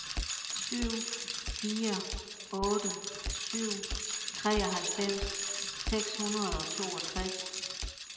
syv fire otte syv treoghalvfems seks hundrede og toogtres